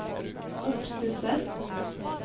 oppstusset